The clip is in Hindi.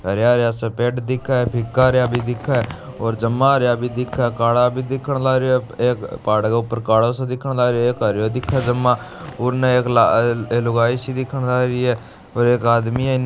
हरया हरया सा पेड़ दिखे है फिका हरया भी दिख है और जमा हरया भी दिखे है काला भी देखन लग रिया है अब एक पहाड़ के ऊपर काला स दिखन लग रिया है एक हरयो दिखन से मा उनने एक ला लुगाई सी दिखन लग रिया है और एक आदमी है।